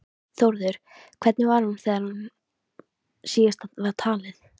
Þórður, hvernig var hún þegar síðast var talið?